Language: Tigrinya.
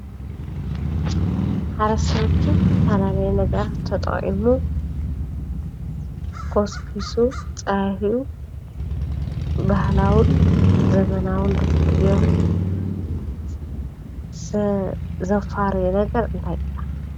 ሓረስታይ ዝተፈላለዩ ነገራት ተጠቒሙ ኮስኩሱ ፃህዩ ባህላዊን ዘመናዊን ድዅዒ ገይሩ ንዘፋረዮ ነገር እንታይ ይባሃል።